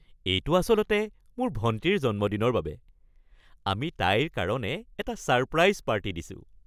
এইটো আচলতে মোৰ ভণ্টিৰ জন্মদিনৰ বাবে। আমি তাইৰ কাৰণে এটা ছাৰপ্ৰাইজ পাৰ্টি দিছোঁ।